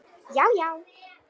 Já, já!